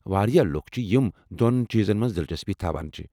واریاہ لوٗکھ چھِ یم دو٘ن چیزن منز دلچسپی تھاوان چھِ ۔